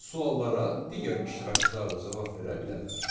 Suallara digər iştirakçılar da cavab verə bilərlər.